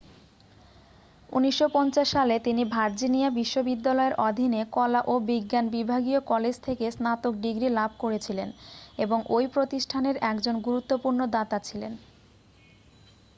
1950 সালে তিনি ভার্জিনিয়া বিশ্ববিদ্যালয়ের অধীনে কলা ও বিজ্ঞান বিভাগীয় কলেজ থেকে স্নাতক ডিগ্রি লাভ করেছিলেন এবং ওই প্রতিষ্ঠানের একজন গুরুত্বপূর্ণ দাতা ছিলেন